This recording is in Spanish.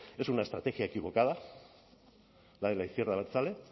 es una estrategia equivocada la de la izquierda abertzale